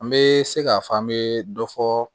An bɛ se k'a fɔ an bɛ dɔ fɔ